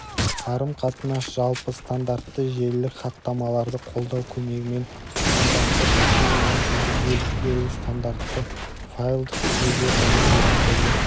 қарым тынас жалпы стандартты желілік хаттамаларды қолдау көмегімен стандартты тәсілмен өңдеуді бөліп беру стандартты файлдық жүйелер және деректерді